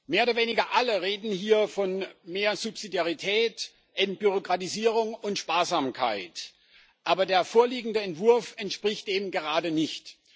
Mehr oder weniger alle reden hier von mehr Subsidiarität, Entbürokratisierung und Sparsamkeit. Aber der vorliegende Entwurf entspricht dem eben gerade nicht.